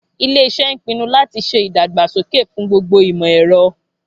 Ilé iṣẹ́ ń pinu láti ṣe ìdàgbàsókè fún gbogbo ìmọ̀ ẹ̀rọ